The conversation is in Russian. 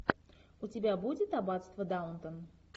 у тебя будет аббатство даунтон